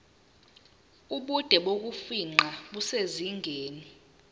ubude bokufingqa kusezingeni